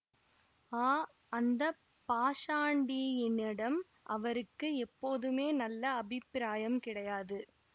ஆ அந்த பாஷாண்டியினிடம் அவருக்கு எப்போதுமே நல்ல அபிப்பிராயம் கிடையாது